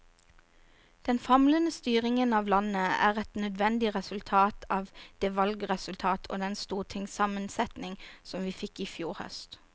Den famlende styringen av landet er et nødvendig resultat av det valgresultat og den stortingssammensetning vi fikk i fjor høst.